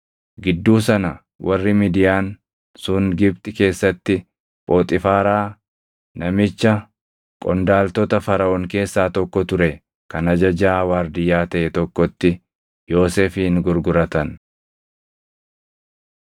Gidduu sana warri Midiyaan sun Gibxi keessatti Phoxiifaaraa namicha qondaaltota Faraʼoon keessaa tokko ture kan ajajaa waardiyyaa taʼe tokkotti Yoosefin gurguratan.